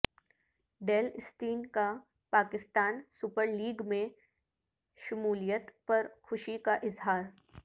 deal Steyn کا Pakistan Super League میں شمولیت پر خوشی کا اظہار